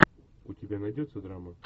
у тебя найдется драма